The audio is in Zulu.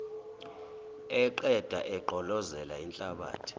eqeda egqolozela inhlabathi